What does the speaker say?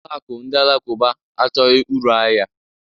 Ụlọ akụ ndị alakụba achọghị uru ahịa